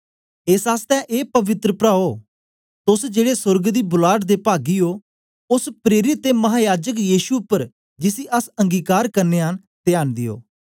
एस आसतै ए पवित्र प्राओ तोस जेड़े सोर्ग दी बुलाट दे पागी ओ ओस प्रेरित ते महायाजक यीशु उपर जिसी अस अंगीकार करनयां न त्यान दियो